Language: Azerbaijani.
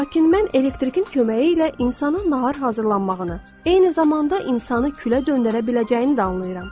Lakin mən elektrikin köməyi ilə insanın nahar hazırlanmağını, eyni zamanda insanı külə döndərə biləcəyini də anlayıram.